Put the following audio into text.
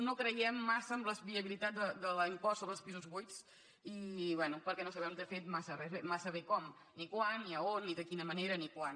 no creiem massa en la viabilitat de l’impost sobre els pisos buits i bé perquè no sabem de fet massa bé com ni quan ni de quina manera ni quan